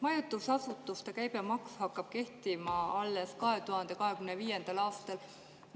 Majutusasutuste käibemaks hakkab kehtima 2025. aastal.